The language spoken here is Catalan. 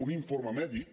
un informe mèdic